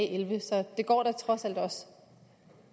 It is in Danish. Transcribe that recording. elleve så det går da trods alt også